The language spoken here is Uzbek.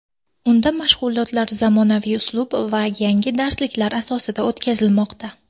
Unda mashg‘ulotlar zamonaviy uslub va yangi darsliklar asosida o‘tkazilmoqda.